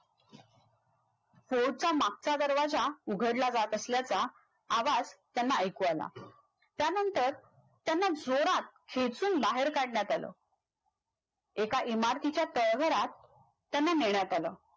Fort चा मागचा दरवाजा उघडला जात असल्याचा आवाज़ त्यांना ऐकू आला त्यानंतर त्यांना जोरात खेचुन बाहेर काढण्यात आल एका इमारतीच्या तळघरात त्यांना नेण्यात आलं